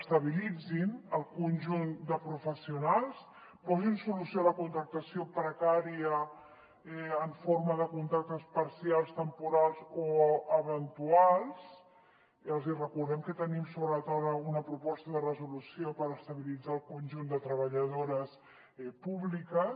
estabilitzin el conjunt de professionals posin solució a la contractació precària en forma de contractes parcials temporals o eventuals i els hi recordem que tenim sobre la taula una proposta de resolució per estabilitzar el conjunt de treballadores públiques